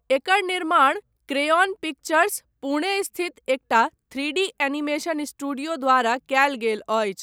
एकर निर्माण Crayon Pictures, Pune स्थित एकटा थ्रीडी एनीमेशन स्टूडियो द्वारा कयल गेल अछि।